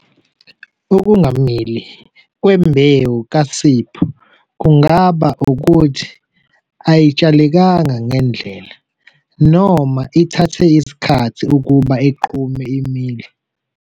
Ukungamile kwembewu kaSipho kungaba ukuthi ayitshalekanga ngendlela, noma ithathe isikhathi ukuba iqhume imile.